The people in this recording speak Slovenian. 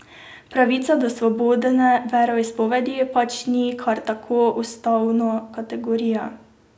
Pravica do svobodne veroizpovedi pač ni kar tako ustavna kategorija.